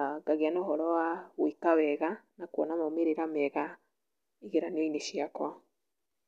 ahh ngagĩa na ũhoro wa gwĩka wega na kũona maumĩrĩra mega igeranionĩ ciakwa. n